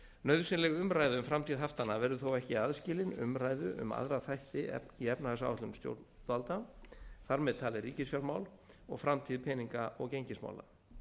nauðsynleg umræða um framtíð haftanna verður þó ekki aðskilin umræðu um aðra þætti í efnahagsáætlun stjórnvalda þar með talið ríkisfjármál og framtíð peninga og gengismála